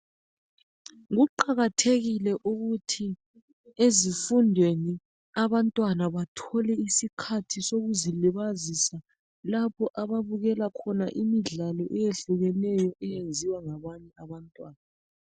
Kuqakathekile ukuthi ezifundweni abantwana bathole isikhathi sokuzilibazisa lapho ababukela khona imidlalo etshiyeneyo eyenziwa ngabanye abantwana.